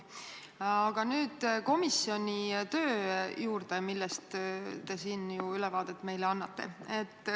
Aga nüüd komisjoni töö juurde, millest te siin ju ülevaadet meile annate.